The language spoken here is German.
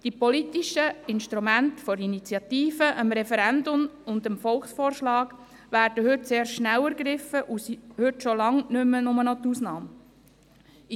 Die politischen Instrumente der Initiative, des Referendums und des Volksvorschlags werden heute sehr rasch ergriffen und sind heute längst keine Ausnahme mehr.